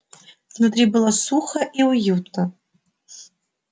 внутри было сухо и уютно